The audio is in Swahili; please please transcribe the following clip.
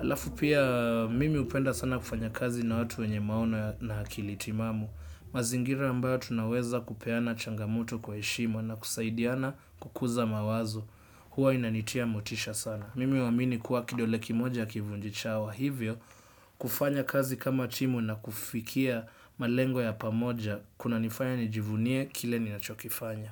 Alafu pia, mimi hupenda sana kufanya kazi na watu wenye maono na akili timamu. Mazingira ambayo tunaweza kupeana changamoto kwa heshima na kusaidiana kukuza mawazo huwa inanitia motisha sana mimi huamini kuwa kidole kimoja hakivunji chawa hivyo kufanya kazi kama timu na kufikia malengo ya pamoja kunanifanya nijivunie kile ninachokifanya.